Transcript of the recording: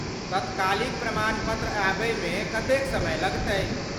तत्कालिक प्रमाण पत्र आबयमे कतेक समय लगतै ?